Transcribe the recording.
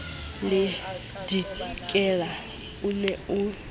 le dikela o ne a